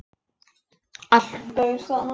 Alls gaus þarna